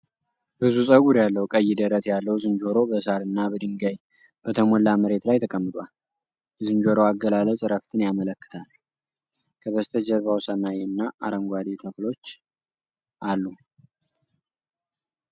ብዙ ፀጉር ያለው ቀይ ደረት ያለው ዝንጀሮ በሣር እና በድንጋይ በተሞላ መሬት ላይ ተቀምጧል። የዝንጀሮው አገላለጽ እረፍትን ያመለክታል፤ ከበስተጀርባው ሰማይ እና አረንጓዴ ተክሎች አሉ።